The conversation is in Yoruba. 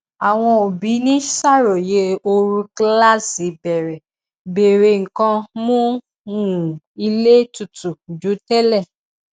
àwọn òbí ń ṣàròyé ooru kíláàsì bẹrẹ béèrè nǹkan mú um ilé tutù ju tẹlẹ